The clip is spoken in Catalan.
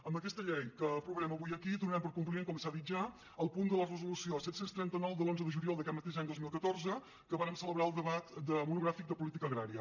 amb aquesta llei que aprovarem avui aquí do·narem compliment com s’ha dit ja al punt de la resolució set cents i trenta nou de l’onze de juliol d’aquest mateix any dos mil catorze que vàrem celebrar el debat monogràfic de política agrària